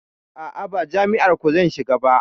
A'a, ba jam'iyar ku zan shiga ba.